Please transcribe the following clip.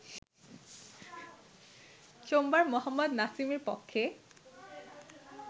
সোমবার মোহাম্মদ নাসিমের পক্ষে